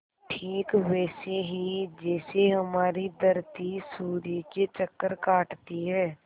ठीक वैसे ही जैसे हमारी धरती सूर्य के चक्कर काटती है